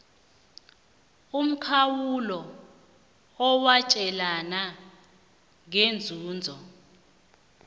umkhawulo owatjelwana ngeenzuzo